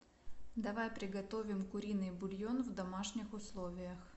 давай приготовим куриный бульон в домашних условиях